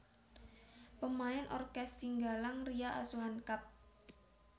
Pemain orkes Singgalang Ria Asuhan Kapt